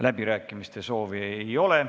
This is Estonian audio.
Läbirääkimiste soovi ei ole.